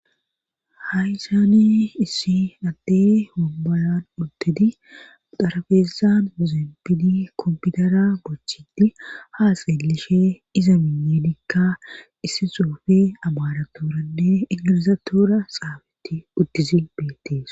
Hayysaane issi adde hombaayan udtidi darabeezan muzempidi kompidara gochitti haa seelishe iza miinne dikka issi xoofe abaratoranne ingilizatora xaabetti uttizi beettees.